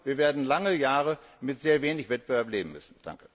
Wir werden lange Jahre mit sehr wenig Wettbewerb leben müssen.